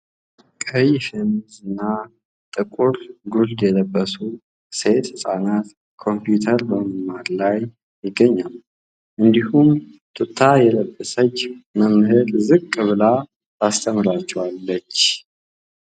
ቀይ ሸሚዝና ጥቁር ጉርድ የለበሱ ሴት ህፃናት ኮምፒዩተር በመማር ላይ ይገኛሉ ። እንዲሁም ቱታ የለበሰች መምህር ዝቅ ብላ ስተምራለች ።